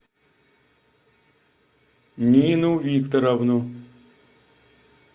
нину викторовну